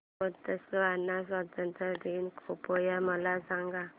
Botswana स्वातंत्र्य दिन कृपया मला सांगा